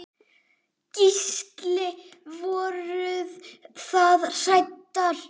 Gísli: Voruð þið hræddar?